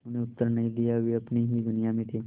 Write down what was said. उन्होंने उत्तर नहीं दिया वे अपनी ही दुनिया में थे